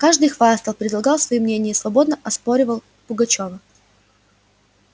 каждый хвастал предлагал свои мнения и свободно оспаривал пугачёва